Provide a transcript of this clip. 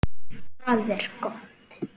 Það er gott